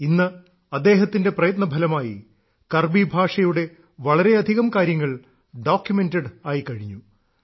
ഇന്ന് അദ്ദേഹത്തിന്റെ പ്രയത്നഫലമായി കർബി ഭാഷയുടെ വളരെയധികം കാര്യങ്ങൾ ഡോക്യുമെന്റഡ് ആയിക്കഴിഞ്ഞു